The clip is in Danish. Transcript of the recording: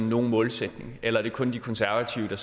nogen målsætning eller er det kun de konservative